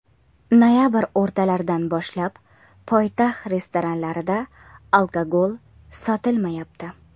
Noyabr o‘rtalaridan boshlab poytaxt restoranlarida alkogol sotilmayapti.